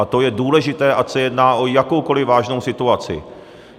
A to je důležité, ať se jedná o jakoukoliv vážnou situaci.